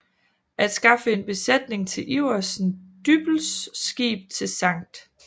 At skaffe en besætning til Iversen Dyppels skib til Skt